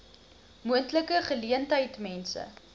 moontlike geleentheid mense